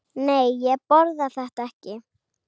Nei, ég borða þetta ekki.